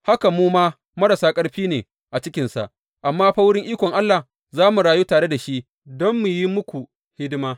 Haka mu ma marasa ƙarfi ne a cikinsa, amma ta wurin ikon Allah za mu rayu tare da shi don mu yi muku hidima.